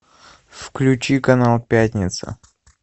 включи канал пятница